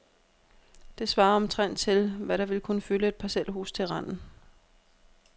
Det svarer omtrent til, hvad der ville kunne fylde et parcelhus til randen.